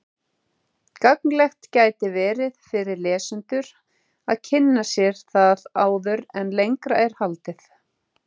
Gagnlegt gæti verið fyrir lesendur að kynna sér það áður en lengra er haldið.